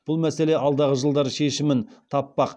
бұл мәселе алдағы жылдары шешімін таппақ